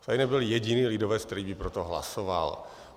Tady nebyl jediný lidovec, který by pro to hlasoval.